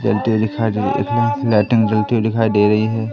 जलती हुई दिखाई दे रही हैं लाइटिंग जलती हुई दिखाई दे रही हैं।